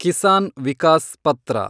ಕಿಸಾನ್ ವಿಕಾಸ್ ಪತ್ರ